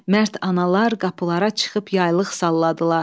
Mərd analar qapılara çıxıb yaylıq salladılar.